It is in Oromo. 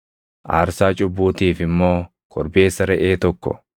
aarsaa cubbuutiif immoo korbeessa reʼee tokko,